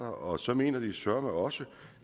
og så mener de søreme også